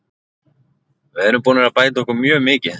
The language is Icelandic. Við erum búnir að bæta okkur mjög mikið.